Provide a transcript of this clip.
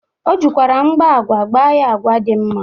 O jikwara mgba agwa gba ya agwa dị mma.